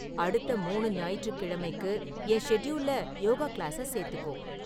அடுத்த மூனு ஞாயிற்றுக் கிழமைக்கு என் ஷெட்யூல்ல யோகா கிளாஸ சேர்த்துக்கோ